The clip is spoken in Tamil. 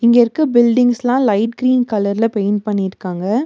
இங்க இருக்க பில்டிங்ஸ்லா லைட் க்ரீன் கலர்ல பெயிண்ட் பண்ணிருக்காங்க.